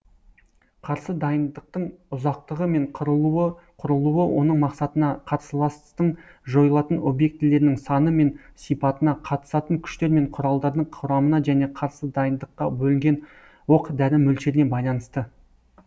қарсы дайындықтың ұзақтығы мен құрылуы оның мақсатына карсыластың жойылатын объектілерінің саны мен сипатына қатысатын күштер мен құралдардың құрамына және қарсы дайындыққа бөлінген оқ дәрі мөлшеріне байланысты